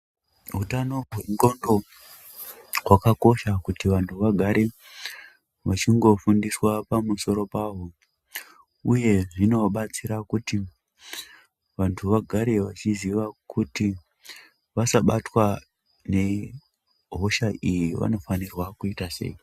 Utano hwendxondo hwakakosha kuti vanthu vagare vechingofundiswa pamusoro pahwo uye zvinobatsira kuti vanthu vagare vachiziva kuti vasabatwa nehosha iyi vanofanirwa kuita sei.